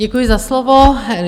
Děkuji za slovo.